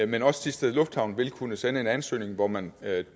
men også thisted lufthavn vil kunne sende en ansøgning hvor man